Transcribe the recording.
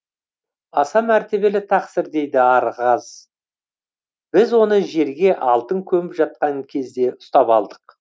аса мәртебелі тақсыр дейді архаз біз оны жерге алтын көміп жатқан кезде ұстап алдық